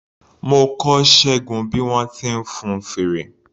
Mo kọ́ Ṣẹ́gun bí wọ́n ti ń fun fèrè.